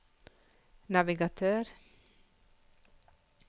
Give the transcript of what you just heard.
navigatør